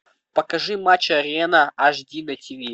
покажи матч арена ашди на тиви